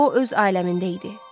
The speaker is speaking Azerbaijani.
O öz aləmində idi.